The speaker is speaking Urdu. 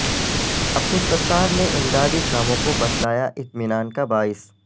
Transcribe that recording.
عبدالستار نے امداد ی کاموں کوبتلایا اطمینان کا باعث